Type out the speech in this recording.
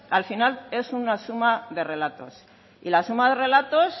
al final es una suma de relatos y la suma de relatos